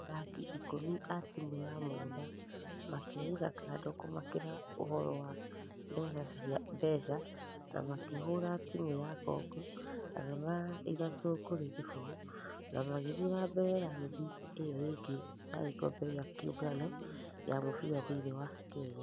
Athaki ikũmi a timũ ya mũgũtha makeiga kando kũmakĩra ũhoro wa mbeca na makĩhũra timu ya congo arama ithatũ kũrĩ kĩfũgũ na magĩthie na mbere roundĩ ĩyo ĩnge ya gĩkobe gia kĩũngano ya mũfira thĩinĩ wa kenya.